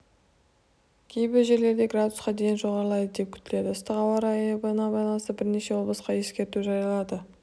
кейбір жерлерде градусқа дейін жоғарылайды деп күтіледі ыстық ауа райына байланысты бірнеше облысқа ескерту жарияланды